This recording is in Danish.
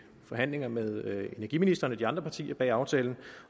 forhandlinger med energiministeren og de andre partier bag aftalen